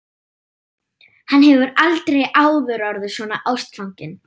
Hann hefur aldrei áður orðið svona ástfanginn.